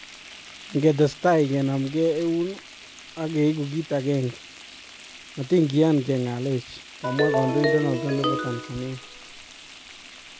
Ngetestai kenamkee eun ak keeku kiit agenge , matinkiyan keng'alech ' kamwa kandoindet noto bo Tanzania.